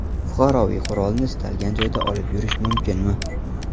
Fuqaroviy qurolni istalgan joyda olib yurish mumkinmi?